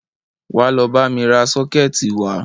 Wá lọ bámi ra sọ́kẹ̀tì wá!